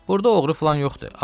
Burda oğru filan yoxdur.